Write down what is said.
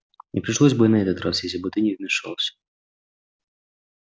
не пришлось бы и на этот раз если бы ты не вмешался